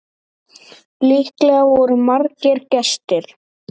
Líklega voru margir gestir.